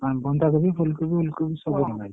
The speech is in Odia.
ଆଉ ବନ୍ଧା କୋବି ଫୁଲକୋବି ଉଲକୋବି ସବୁ ଗଲା।